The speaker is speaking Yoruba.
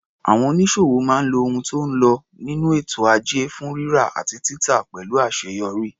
Àwọn onísòwò máa ń lo ohun tó ń lo nínú ètò ajé fún rírà àti títà pẹ̀lú àṣeyọrí.